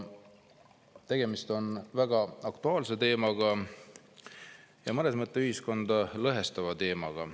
Tegemist on väga aktuaalse teemaga, mõnes mõttes ka ühiskonda lõhestava teemaga.